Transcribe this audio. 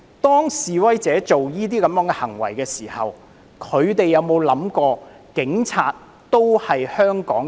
當示威者做出這些行為的時候，他們有否想過警察都是香港人？